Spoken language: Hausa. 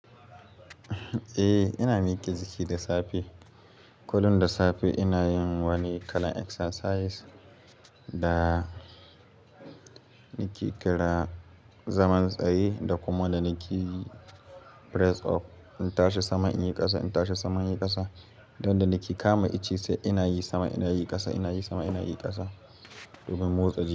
Eh, ina miƙa jiki da safe. Kullum da safe ina yin wani irin exercise wanda nake kira zaman tsaye, da kuma wanda nake yi press up. Kullum da safe ina yin wani irin exercise da nake kira zaman tsaye, da kuma wanda nake yin press up. Yanda nake kama ice sai ina yi sama ina yi ƙasa, ina yi sama ina yi ƙasa.